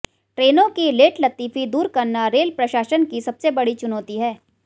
ट्रेनों की लेटलतीफी दूर करना रेल प्रशासन के सामने बड़ी चुनौती है